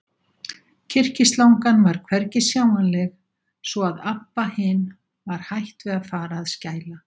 Kyrkislangan var hvergi sjáanleg, svo að Abba hin var hætt við að fara að skæla.